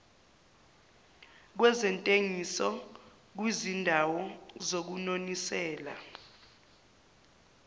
kwezentengiso kwizindawo zokunonisela